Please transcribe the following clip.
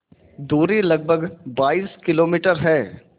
दूरी लगभग बाईस किलोमीटर है